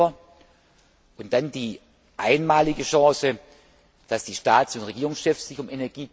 3. Dezember und dann die einmalige Chance, dass die Staats und Regierungschefs sich am